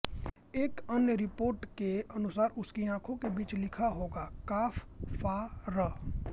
एक अन्य रिपोर्ट के अनुसार उसकी आंखों के बीच लिखा होगा काफ फा र